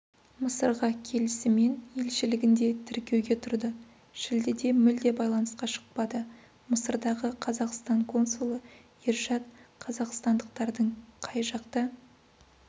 мысырға келісімен елшілігінде тіркеуге тұрды шілдеде мүлде байланысқа шықпады мысырдағы қазақстан консулы ершат қазақстандықтардың қай жақта